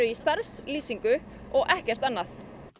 í starfslýsingu og ekkert annað